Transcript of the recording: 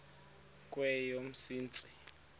kweyomsintsi